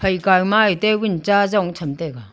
phai kai ma table cha jong tham taiga.